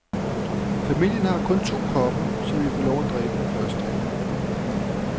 Familien har kun to kopper, som vi får lov at drikke først af.